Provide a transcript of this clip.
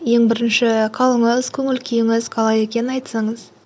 ең бірінші қалыңыз көңіл күйіңіз қалай екенін айтсаңыз